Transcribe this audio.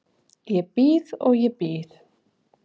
Ég bíð og ég bíð.